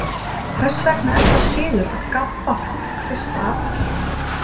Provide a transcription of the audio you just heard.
Hvers vegna er það siður að gabba fólk fyrsta apríl?